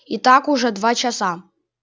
и так уже два часа